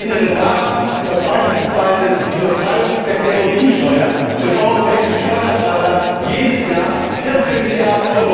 Ich erinnere daran, dass beispielsweise die Steuerbefreiung von Kerosin den europäischen Steuerzahler jedes Jahr 14 Mrd.